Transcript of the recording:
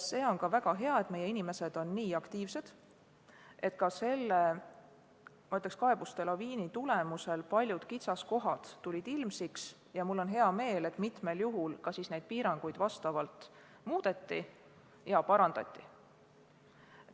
See on väga hea, et meie inimesed on nii aktiivsed, sest selle kaebuste laviini tulemusel tulid ilmsiks paljud kitsaskohad ja mul on hea meel, et mitmel juhul piiranguid ka vastavalt vajadusele muudeti ja parandati.